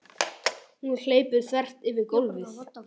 Hún hleypur þvert yfir gólfið.